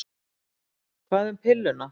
Hvað um pilluna?